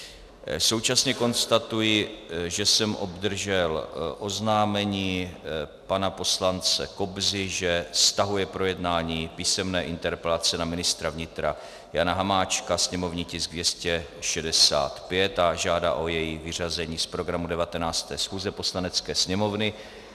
Současně konstatuji, že jsem obdržel oznámení pana poslance Kobzy, že stahuje projednání písemné interpelace na ministra vnitra Jana Hamáčka, sněmovní tisk 265, a žádá o její vyřazení z programu 19. schůze Poslanecké sněmovny.